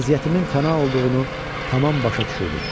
Vəziyyətimin fəna olduğunu tamam başa düşürdüm.